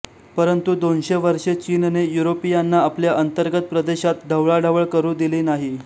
परंतु दोनशे वर्षे चीनने युरोपीयांना आपल्या अंतर्गत प्रदेशात ढवळाढवळ करू दिली नाही